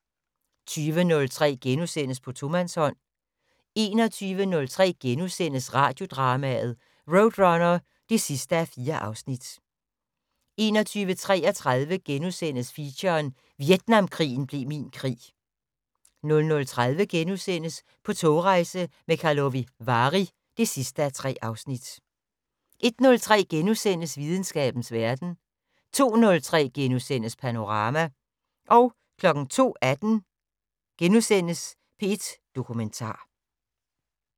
20:03: På tomandshånd * 21:03: Radiodrama: RoadRunner (4:4)* 21:33: Feature: Vietnamkrigen blev min krig * 00:30: På togrejse til Karlovy Vary (3:3)* 01:03: Videnskabens Verden * 02:03: Panorama * 02:18: P1 Dokumentar *